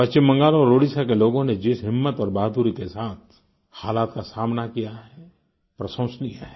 पश्चिम बंगाल और ओडिशा के लोगों ने जिस हिम्मत और बहादुरी के साथ हालात का सामना किया है प्रशंसनीय है